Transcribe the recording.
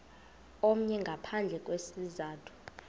omnye ngaphandle kwesizathu